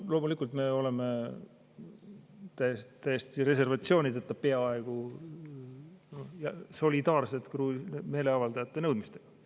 Loomulikult me oleme peaaegu täiesti reservatsioonideta solidaarsed meeleavaldajate nõudmistega.